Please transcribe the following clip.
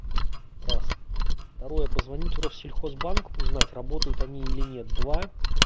раз второе позвонить в россельхозбанк узнать работают они или нет два